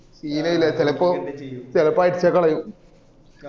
ശീലോ ഇല് ചെലപ്പോ ചെലപ്പോ അടിച്ചൊക്കെ കളയും